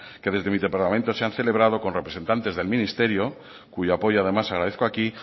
que desde mi departamento se han celebrado con representantes del ministerio cuyo apoyo además agradezco aquí